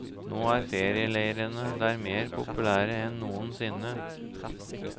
Nå er ferieleirene der mer populære enn noensinne.